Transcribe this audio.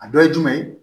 A dɔ ye jumɛn ye